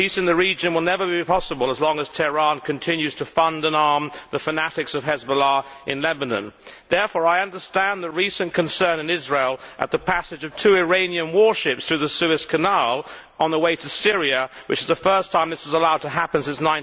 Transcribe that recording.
Peace in the region will never be possible as long as Tehran continues to fund and arm the fanatics of Hezbollah in Lebanon. Therefore, I understand the recent concern in Israel at the passage of two Iranian warships through the Suez Canal on their way to Syria, which is the first time this was allowed to happen since